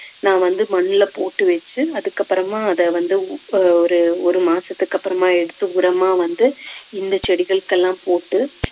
நான் வந்து மண்ணுல போட்டு வெச்சு அதுக்கப்புறமா அத வந்து ஒரு ஒரு மாசத்துக்கு அப்புறமா எடுத்து உரமா வந்து இந்த செடிகளுக்கு எல்லாம் போட்டு